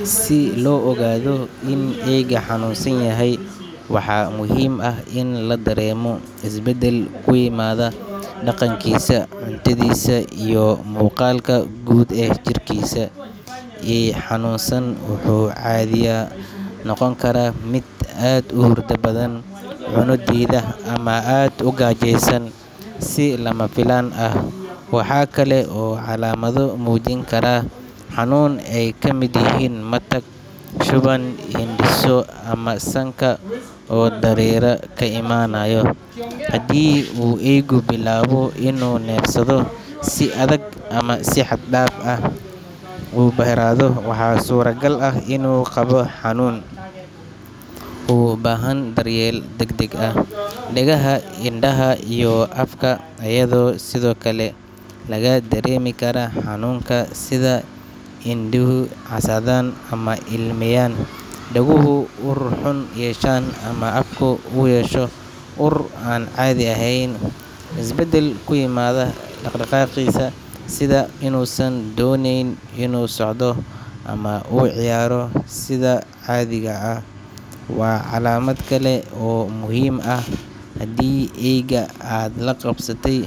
Si loo ogaado in eeyga xanuunsan yahay, waxaa muhiim ah in la dareemo isbedel ku yimaada dhaqankiisa, cuntadiisa, iyo muuqaalka guud ee jirkiisa. Eey xanuunsan wuxuu caadiyan noqon karaa mid aad u hurda badan, cunno diida, ama aad u gaajeysan si lama filaan ah. Waxa kale oo calaamado muujin kara xanuun ay ka mid yihiin matag, shuban, hindhiso, ama sanka oo dareere ka imanayo. Haddii uu eeygu bilaabo inuu neefsado si adag ama si xad dhaaf ah u harraado, waxaa suuragal ah inuu qabo xanuun u baahan daryeel degdeg ah. Dhagaha, indhaha, iyo afka ayaa sidoo kale laga dareemi karaa xanuunka, sida in indhuhu casaadaan ama ilmeyaan, dhaguhu ur xun yeeshaan, ama afku uu yeesho ur aan caadi ahayn. Isbedel ku yimaada dhaqdhaqaaqiisa, sida inuusan dooneynin inuu socdo ama uu u ciyaaro sida caadiga ah, waa calaamad kale oo muhiim ah. Haddii eeyga aad la qabsatay